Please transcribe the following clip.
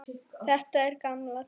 Þetta er gamalt trix.